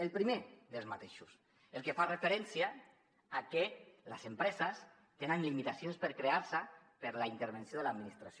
el primer d’aquests el que fa referència a que les empreses tenen limitacions per crear se per la intervenció de l’administració